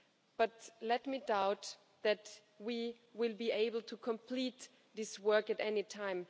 But I doubt that we will be able to complete this work at any time.